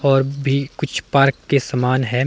और भी कुछ पार्क के समान है।